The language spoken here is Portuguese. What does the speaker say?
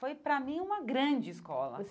Foi, para mim, uma grande escola. Você